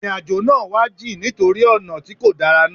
Ìrìn àjò náà wá jìn nítorí ọ̀nà tí kò dára náà.